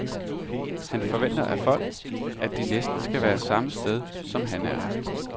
Han forventer af folk, at de næsten skal være samme sted, som han er.